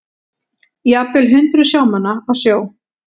Jafnvel hundruð sjómanna á sjó